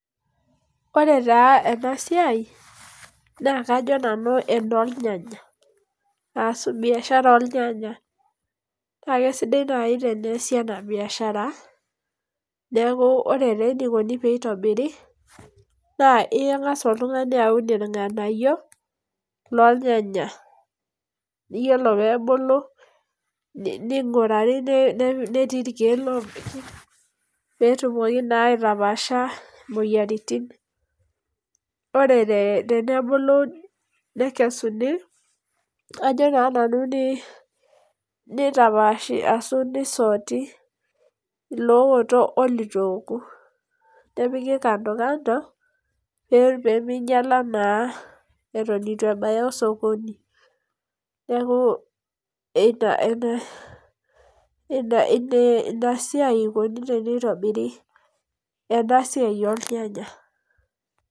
Ore taa ena siai naa, kajo nanu enoor nyanya ashu biashara ornyanya. Naa kesidai naaji teneasi ena biashara. Neaku ore taa enikoni tenitobiri naa ingas oltungani aun irnganayio lornyanya, yiolo pee ebulu ninguraari netii irkeek lopiki pee etumoki naa aitapashaa imoyiaritin. Ore tenebulu neikesuni ajo naa nanu nitapashi ashu ni soti ilooto oliito nepiki kando kando pee minyala naa eton eitu ebaya osokoni. Neaku ina ine ina siai eikoni teneitobiri ena siai ornyanya.